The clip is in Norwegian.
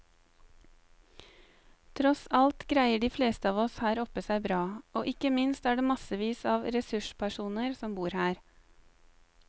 Tross alt greier de fleste av oss her oppe seg bra, og ikke minst er det massevis av ressurspersoner som bor her.